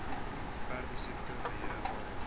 perdesiekte beheer area